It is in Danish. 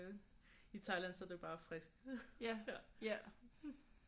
I Thailand så er det bare friskt ja